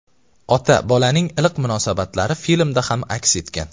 Ota-bolaning iliq munosabatlari filmda ham aks etgan.